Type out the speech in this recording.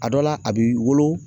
A dɔ la ,a b'i wolo